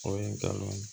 O ye n kalan